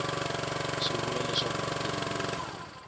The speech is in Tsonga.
swi vula leswaku mutirhi loyi